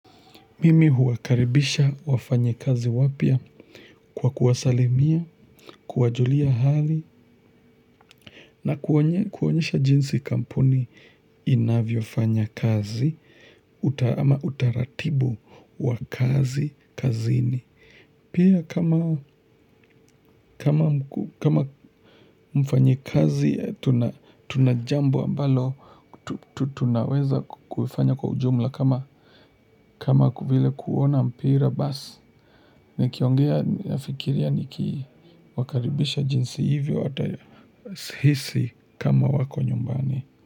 Mimi huwakaribisha wafanyikazi wapya kwa kuwasalimia, kuwajulia hali na kuonyesha jinsi kampuni inavyofanya kazi ama utaratibu wa kazi kazini. Pia kama mfanyikazi, tuna jambo ambalo, tunaweza kufanya kwa ujumla kama vile kuona mpira basi. Nikiongea nafikiria nikiwakaribisha jinsi hivyo atahisi kama wako nyumbani.